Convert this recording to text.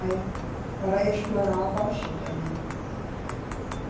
Eh, Para explorar a bauxita, né?